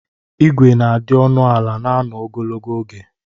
Ịgwe na-adị ọnụ ala na anọ ogologo oge.